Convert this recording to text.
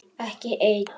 Ekki ein.